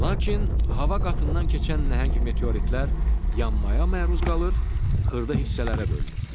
Lakin hava qatından keçən nəhəng meteoritlər yanmaya məruz qalır, xırda hissələrə bölünür.